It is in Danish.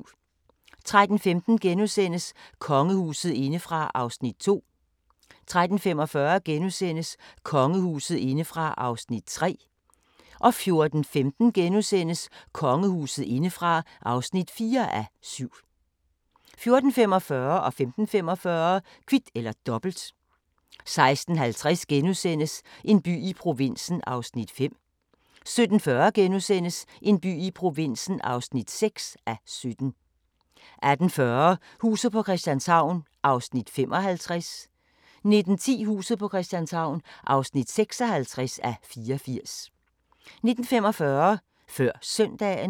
13:15: Kongehuset indefra (2:7)* 13:45: Kongehuset indefra (3:7)* 14:15: Kongehuset indefra (4:7)* 14:45: Kvit eller Dobbelt 15:45: Kvit eller Dobbelt 16:50: En by i provinsen (5:17)* 17:40: En by i provinsen (6:17)* 18:40: Huset på Christianshavn (55:84) 19:10: Huset på Christianshavn (56:84) 19:45: Før Søndagen